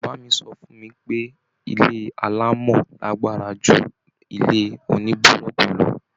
Bàbá mi so fún mi pé ilé alamo lágbára ju ilé onibuloku lọ.